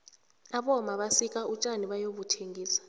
abomma basika utjani bayobuthengisa